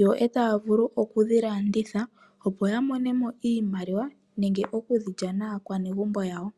Yo taya vulu okudhi landitha opo ya monemo iimaliwa nenge oku dhilya naakwanegumbo yawo.